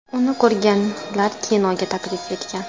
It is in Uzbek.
Uni ko‘rganlar kinoga taklif etgan.